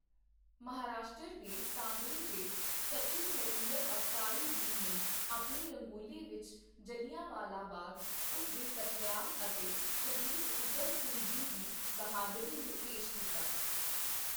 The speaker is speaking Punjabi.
ਮਹਾਰਾਸ਼ਟਰ ਦੇ ਸਾਂਗਲੀ ਦੇ ਸਚਿਨ ਨਰਿੰਦਰ ਅਵਸਾਰੀ ਜੀ ਨੇ ਆਪਣੀ ਰੰਗੋਲੀ ਵਿੱਚ ਜ਼ਿਲ੍ਹਿਆਂ ਵਾਲਾ ਬਾਗ਼, ਉਸ ਦੇ ਕਤਲੇਆਮ ਅਤੇ ਸ਼ਹੀਦ ਊਧਮ ਸਿੰਘ ਜੀ ਦੀ ਬਹਾਦਰੀ ਨੂੰ ਪੇਸ਼ ਕੀਤਾ।